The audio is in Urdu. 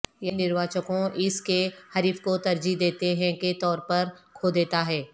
یعنی نرواچکوں اس کے حریف کو ترجیح دیتے ہیں کے طور پر کھو دیتا ہے